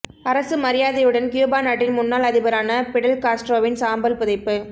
அரசு மரியாதையுடன் கியூபா நாட்டின் முன்னாள் அதிபரான பிடல் காஸ்ட்ரோவின் சாம்பல் புதைப்பு